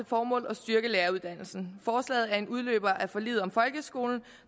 formål at styrke læreruddannelsen forslaget er en udløber af forliget om folkeskolen